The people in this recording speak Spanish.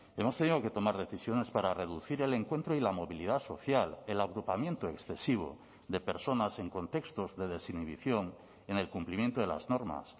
hemos tenido que tomar decisiones para reducir el encuentro y la movilidad social el agrupamiento excesivo de personas en contextos de desinhibición en el cumplimiento de las normas